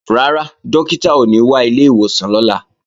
Rárá, Dókítà ò ní wá ilé ìwòsàn lọ́la